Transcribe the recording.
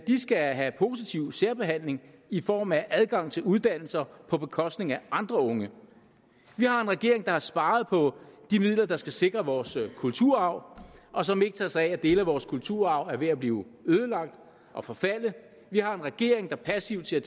skal have positiv særbehandling i form af adgang til uddannelser på bekostning af andre unge vi har en regering der har sparet på de midler der skal sikre vores kulturarv og som ikke tager sig af at dele af vores kulturarv er ved at blive ødelagt og forfalde vi har en regering der passivt ser